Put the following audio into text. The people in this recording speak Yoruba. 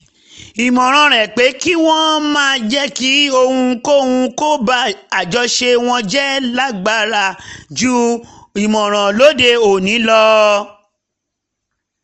ìmọ̀ràn rẹ̀ pé kí wọ́n má jẹ́ kí ohunkóhun ba àjọṣe wọn jẹ́ lágbára ju ìmọ̀ràn lóde òní lọ